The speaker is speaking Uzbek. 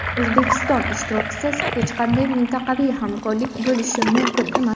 O‘zbekiston ishtirokisiz hech qanday mintaqaviy hamkorlik bo‘lishi mumkin emas.